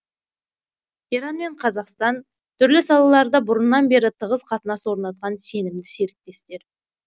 иран мен қазақстан түрлі салаларда бұрыннан бері тығыз қатынас орнатқан сенімді серіктестер